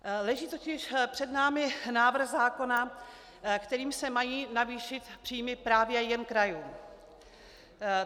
Leží totiž před námi návrh zákona, kterým se mají navýšit příjmy právě jen krajům.